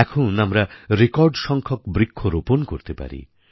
এখন আমরা রেকর্ড সংখ্যক বৃক্ষ রোপণ করতে পারি